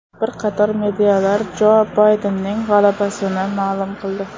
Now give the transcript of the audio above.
Bir qator medialar Jo Baydenning g‘alabasini ma’lum qildi.